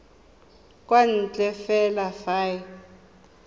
kwa ntle fela fa e